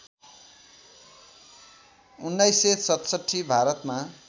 १९६७ भारतमा